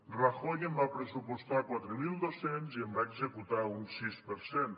rajoy en va pressupostar quatre mil dos cents i en va executar un sis per cent